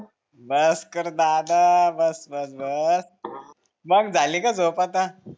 बस कर दादा बस बस मग झाली का झोप आता